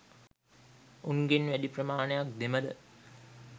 උන්ගෙන් වැඩි ප්‍රමාණයක් දෙමළ.